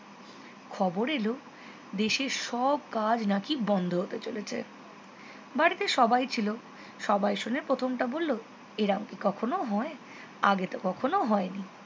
খবর এলো দেশের সব কাজ নাকি বন্ধ হতে চলেছে বাড়িতে সবাই ছিল সবাই শুনে প্রথমটা বললো এরকম কি কখনও হয় আগেতো কখনও হয়নি